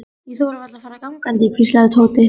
Ég þori varla að fara gangandi hvíslaði Tóti.